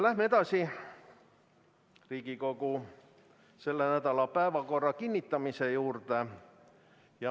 Läheme edasi Riigikogu selle nädala päevakorra kinnitamise juurde.